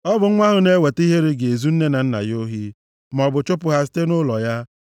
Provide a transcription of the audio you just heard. Ọ bụ nwa ahụ na-eweta ihere ga-ezu nne na nna ya ohi, maọbụ chụpụ ha site nʼụlọ ya.